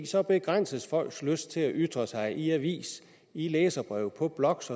så begrænses folks lyst til at ytre sig i aviser i læserbreve på blogs